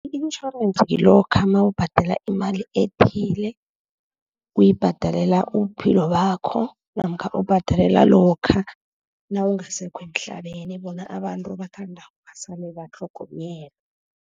I-insurance ngilokha nawubhadala imali ethile, uyibhadalela ubuphilo bakho, namkha ubhadalela lokha nawungasekho emhlabeni, bona abantu obathandako basale batlhogonyelwa.